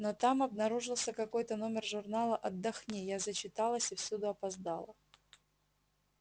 но там обнаружился какой-то номер журнала отдохни я зачиталась и всюду опоздала